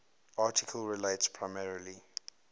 article relates primarily